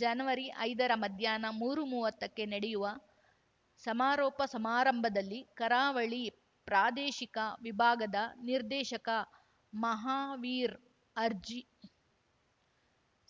ಜನವರಿ ಐದರ ಮಧ್ಯಾಹ್ನ ಮೂರೂಮುವ್ವತ್ತಕ್ಕೆ ನಡೆಯುವ ಸಮಾರೋಪ ಸಮಾರಂಭದಲ್ಲಿ ಕರಾವಳಿ ಪ್ರಾದೇಶಿಕ ವಿಭಾಗದ ನಿರ್ದೇಶಕ ಮಹಾವೀರ್ ಅಜ್ರಿ